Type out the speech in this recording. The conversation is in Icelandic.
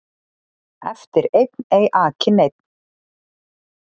Eftir einn ei aki neinn